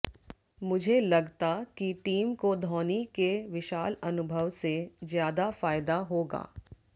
मुझे लगता कि टीम को धौनी के विशाल अनुभव से ज्यादा फायदा होगा